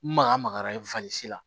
N maga magara la